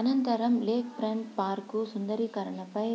అనంతరం lake front park సుందరీకరణపై